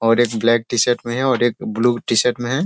और एक black T-shirt में है और एक ब्लू टी-शर्ट में है।